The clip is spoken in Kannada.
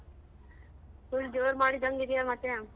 Full ಜೋರ್ ಮಾಡಿದಂಗ್ ಇದ್ಯ ಮತ್ತೆ.